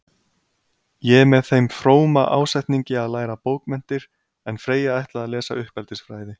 Ég með þeim fróma ásetningi að læra bókmenntir, en Freyja ætlaði að lesa uppeldisfræði.